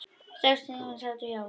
Sex þingmenn sátu hjá